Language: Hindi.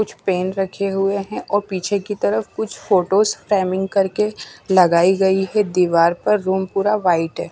कुछ पेन रखे हुए हैं और पीछे की तरफ कुछ फोटोस फ्रेमिंग करके लगाई गई है दीवार पर रूम पूरा वाइट है।